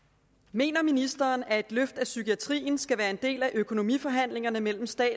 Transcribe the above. mener ministeren at et løft af psykiatrien skal være en del af økonomiforhandlingerne mellem staten